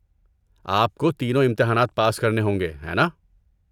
آپ کو تینوں امتحانات پاس کرنے ہوں گے، ہے ناں؟